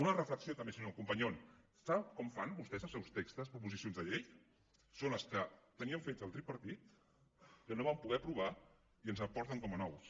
una reflexió també senyor companyon sap com fan vostès els seus textos proposicions de llei són els que tenia fets el tripartit que no va poder aprovar i ens els porten com a nous